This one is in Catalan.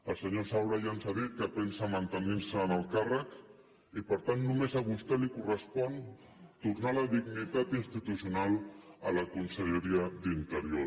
el senyor saura ja ens ha dit que pensa mantenir se en el càrrec i per tant només a vostè li correspon tornar la dignitat institucional a la conselleria d’interior